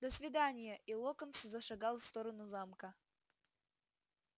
до свидания и локонс зашагал в сторону замка